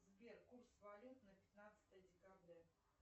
сбер курс валют на пятнадцатое декабря